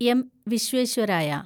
M. Visvesvaraya